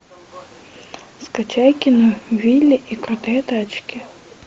скачай кино вилли и крутые тачки